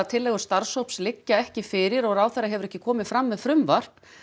tillögur starfshóps liggja ekki fyrir og ráðherra hefur ekki komið fram með frumvarp